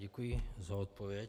Děkuji za odpověď.